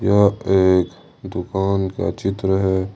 यह एक दुकान का चित्र है।